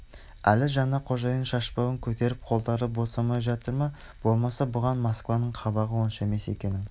әлі жаңа қожайынның шашбауын көтеріп қолдары босамай жатыр ма болмаса бұған москваның қабағы онша емес екенін